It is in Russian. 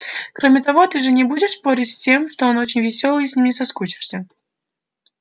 кроме того ты же не будешь спорить с тем что он очень весёлый и с ним не соскучишься